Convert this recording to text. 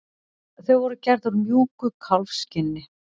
Þau voru gerð úr mjúku kálfskinni.